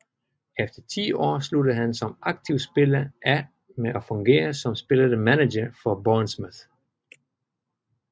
Efter ti år sluttede han som aktiv spiller af med at fungere som spillende manager for Bournemouth